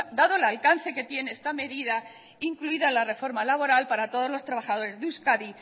dado el alcance que tiene esta medida incluida en la reforma laboral para todos los trabajadores de euskadi